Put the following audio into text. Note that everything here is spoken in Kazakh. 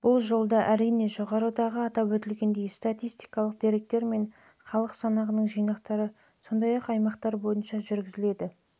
бұл жолда әрине жоғарыда атап өтілгендей статистикалық деректер мен халық санағының жинақтары сондай-ақ аймақтар бойынша жүргізіліп